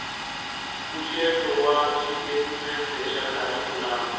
mpfuxeto wa xitatimende xa kharikhulamu